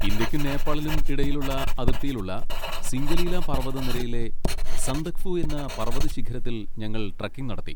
ഇന്ത്യയ്ക്കും നേപ്പാളിനും ഇടയിലുള്ള അതിർത്തിയിലുള്ള സിംഗലീല പർവ്വതനിരയിലെ സന്ദക്ഫു എന്ന പർവ്വതശിഖരത്തിൽ ഞങ്ങൾ ട്രെക്കിംഗ് നടത്തി.